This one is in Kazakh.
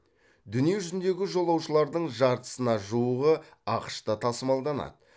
дүниежүзіндегі жолаушылардың жартысына жуығы ақш та тасымалданады